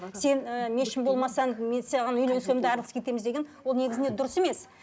сен ы мешін болмасаң мен саған үйленсем де айрылысып кетеміз деген ол негізінде дұрыс емес